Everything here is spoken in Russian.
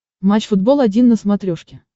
матч футбол один на смотрешке